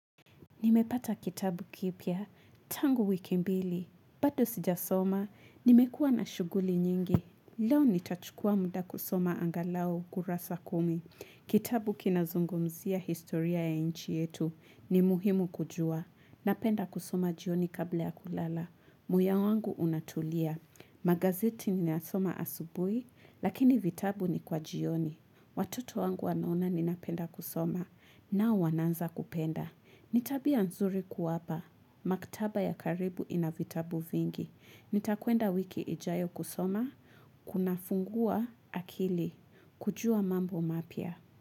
Nimepata kitabu kipya, tangu wiki mbili. Bado sijasoma, nimekua na shughuli nyingi. Leo nitachukua muda kusoma angalau kurasa kumi. Kitabu kinazungumzia historia ya nchi yetu ni muhimu kujua. Napenda kusoma jioni kabla ya kulala. Muya wangu unatulia. Magazeti ninayasoma asubuhi, lakini vitabu ni kwa jioni. Watkto wangu wanaona ni napenda kusoma. Nao wanaanza kupenda. Nitabia nzuri kuwapa. Maktaba ya karibu inavitabu vingi. Nitakwenda wiki ijayo kusoma. Kuna fungua akili. Kujua mambo mapia.